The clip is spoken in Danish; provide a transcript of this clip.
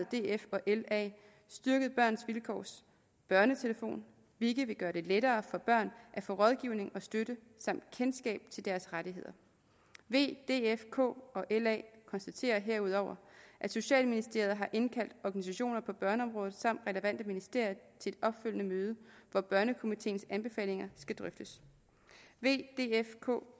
la styrket børns vilkårs børnetelefon hvilket vil gøre det lettere for børn at få rådgivning og støtte samt kendskab til deres rettigheder v df kf og la konstaterer herudover at socialministeriet har indkaldt organisationer på børneområdet samt relevante ministerier til et opfølgende møde hvor børnekomiteens anbefalinger skal drøftes v df kf